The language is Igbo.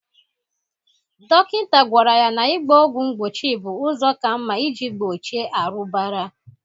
Dokịnta gwara ya na ịgba ọgwụ mgbochi bụ ụzọ ka mma ị ji gbochie arụbara.